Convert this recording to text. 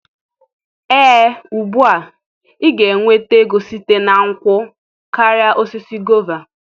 Ee ugbu a, ị ga-enweta ego site na nkwụ karịa osisi guava.